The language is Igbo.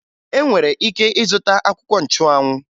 Ị nwere ike ịzụta akwụkwọ nchụanwụ